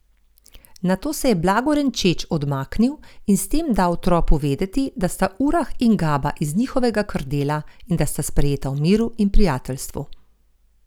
Nato se je blago renčeč odmaknil in s tem dal tropu vedeti, da sta Urah in Gaba iz njihovega krdela in da sta sprejeta v miru in prijateljstvu.